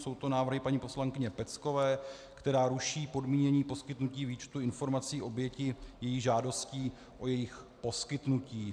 Jsou to návrhy paní poslankyně Peckové, která ruší podmínění poskytnutí výčtu informací obětí její žádostí o jejich poskytnutí.